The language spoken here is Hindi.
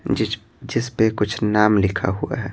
जिस जिस पे कुछ नाम लिखा हुआ है।